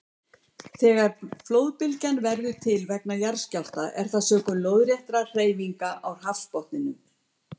Þegar flóðbylgja verður til vegna jarðskjálfta er það sökum lóðréttra hreyfinga á hafsbotninum.